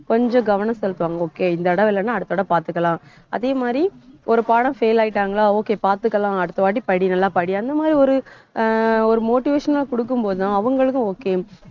கொஞ்சம் கவனம் செலுத்துவாங்க okay இந்த தடவை இல்லைன்னா அடுத்த தடவை பார்த்துக்கலாம். அதே மாதிரி ஒரு பாடம் fail ஆயிட்டாங்களா okay பார்த்துக்கலாம். அடுத்த வாட்டி படி நல்லா படி அந்த மாதிரி ஒரு ஒரு அஹ் motivation அ கொடுக்கும் போதும் அவங்களுக்கும் okay